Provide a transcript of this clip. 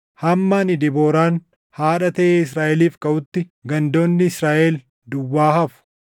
Hamma ani Debooraan, haadha taʼee Israaʼeliif kaʼutti, gandoonni Israaʼel duwwaa hafu.